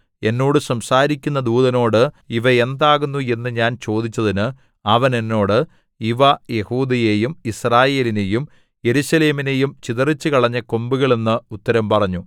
എന്നോട് സംസാരിക്കുന്ന ദൂതനോട് ഇവ എന്താകുന്നു എന്നു ഞാൻ ചോദിച്ചതിന് അവൻ എന്നോട് ഇവ യെഹൂദയെയും യിസ്രായേലിനെയും യെരൂശലേമിനെയും ചിതറിച്ചുകളഞ്ഞ കൊമ്പുകൾ എന്ന് ഉത്തരം പറഞ്ഞു